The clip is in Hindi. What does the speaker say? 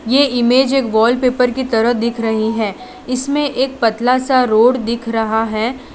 ये इमेज एक वॉलपेपर की तरह दिख रही है इसमें एक पतला सा रोड दिख रहा है।